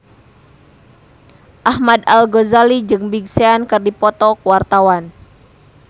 Ahmad Al-Ghazali jeung Big Sean keur dipoto ku wartawan